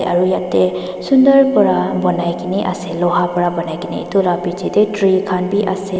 aru yetey sundor para banai kena ase luha para banai kena itu la piche tey tree khan bhi ase.